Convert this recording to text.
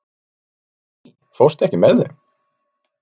Véný, ekki fórstu með þeim?